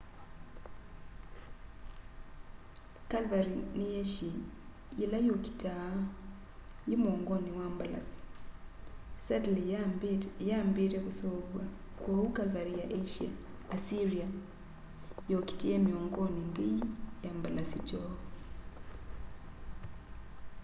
cavalry ni yeshi ila yukitaa yi muongoni wa mbalasi saddle iyambite kuseuvwa kwoou cavalry ya assyria yokitie miongoni nthei ya mbalasi kyoo